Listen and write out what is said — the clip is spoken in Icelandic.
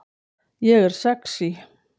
Ég er sexý